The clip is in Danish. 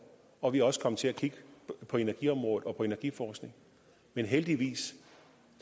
og vi er også kommet til at kigge på energiområdet og på energiforskningen men heldigvis og